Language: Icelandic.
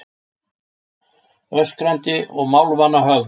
Öskrandi og málvana höfð